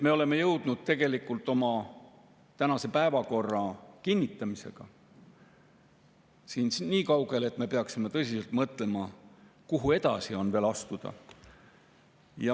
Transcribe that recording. Me oleme jõudnud tegelikult oma tänase päevakorra kinnitamisel nii kaugele, et me peaksime tõsiselt mõtlema, kuhu edasi on veel astuda.